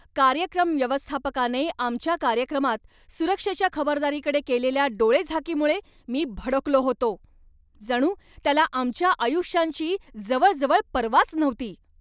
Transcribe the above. कार्यक्रम व्यवस्थापकाने आमच्या कार्यक्रमात सुरक्षेच्या खबरदारीकडे केलेल्या डोळेझाकीमुळे मी भडकलो होतो. जणू त्याला आमच्या आयुष्यांची जवळजवळ पर्वाच नव्हती!